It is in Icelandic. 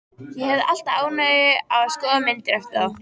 Ég hefi alltaf ánægju af að skoða myndir eftir þá.